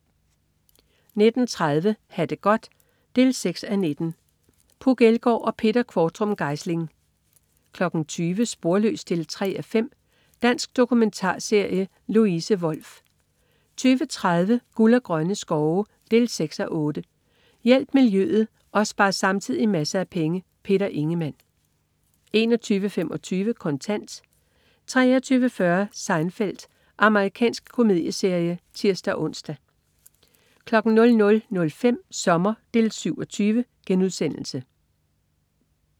19.30 Ha' det godt 6:19. Puk Elgård og Peter Qvortrup Geisling 20.00 Sporløs 3:5. Dansk dokumentarserie. Louise Wolff 20.30 Guld og grønne skove 6:8. Hjælp miljøet og spar samtidig masser af penge. Peter Ingemann 21.25 Kontant 23.40 Seinfeld. Amerikansk komedieserie (tirs-ons) 00.05 Sommer 7:20*